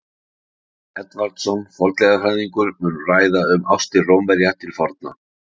Ragnar Edvardsson, fornleifafræðingur, mun ræða um ástir Rómverja til forna.